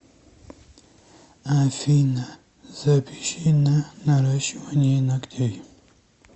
афина запиши на наращивание ногтей